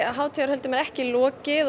hátíðarhöldum er ekki lokið og